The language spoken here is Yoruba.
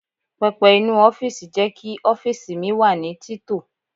Pẹpẹ inú ọ́fíìsì jẹ́ kí ọ́fíìsì mi wà ní tito.